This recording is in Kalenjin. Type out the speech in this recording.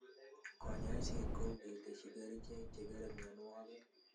Kanyoiset kou keteschi kerchek che kere myonwogik